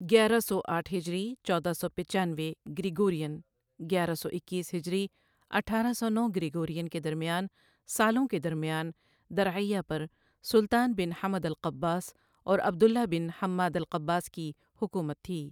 گیرہ سو آٹھ ہجری ۱۶۹۵ گریگورین گیرہ سو اکیس ہجری اٹھارہ سو نو گریگورین کے درمیان سالوں کے درمیان، درعیہ پر سلطان بن حمد القباس اور عبداللہ بن حماد القباس کی حکومت تھی،۔